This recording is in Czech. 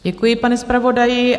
Děkuji panu zpravodaji.